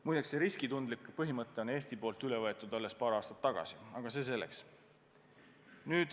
Muide, riskitundlikkuse põhimõte on Eestis üle võetud alles paar aastat tagasi, aga see selleks.